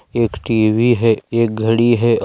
एक टी_वी है एक घड़ी है और --